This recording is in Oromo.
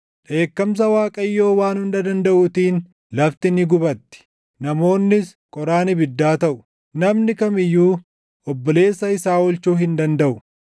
Dheekkamsa Waaqayyoo Waan Hunda Dandaʼuutiin // lafti ni gubatti; namoonnis qoraan ibiddaa taʼu; namni kam iyyuu obboleessa isaa oolchuu hin dandaʼu.